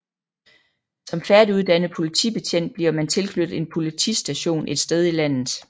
Som færdiguddannet politibetjent bliver man tilknyttet en politistation et sted i landet